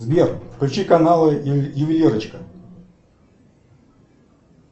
сбер включи каналы ювелирочка